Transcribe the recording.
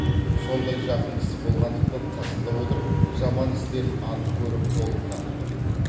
сондай жақын кісі болғандықтан қасында отырып жаман істерін анық көріп толық таныдым